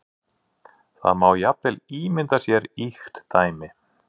Það má jafnvel ímynda sér ýkt dæmi.